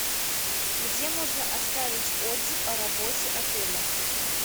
где можно оставить отзыв о работе отеля